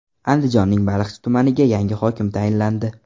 Andijonning Baliqchi tumaniga yangi hokim tayinlandi.